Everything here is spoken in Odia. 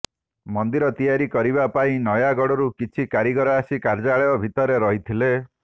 ମନ୍ଦିର ତିଆରି କରିବା ପାଇଁ ନୟାଗଡ଼ରୁ କିଛି କାରିଗର ଆସି କାର୍ଯ୍ୟାଳୟ ଭିତରେ ରହିଥିଲେ